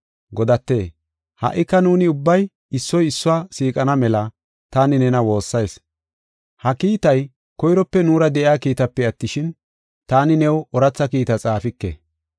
Godate, ha77ika nuuni ubbay issoy issuwa siiqana mela taani nena woossayis. Ha kiitay koyrope nuura de7iya kiitaape attishin, taani new ooratha kiita xaafike.